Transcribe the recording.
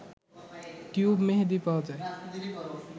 tube মেহেদি পাওয়া যায়